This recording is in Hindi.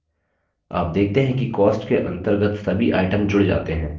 आप देखते हैं कि cost के अंतर्गत सभी items जुड़ जाते हैं